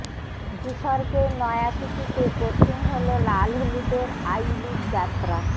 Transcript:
ভূস্বর্গের নয়া সূচীতে কঠিন হল লালহলুদের আই লিগ যাত্রা